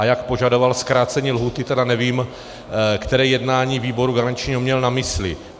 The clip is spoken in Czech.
A jak požadoval zkrácení lhůty, tedy nevím, které jednání výboru garančního měl na mysli.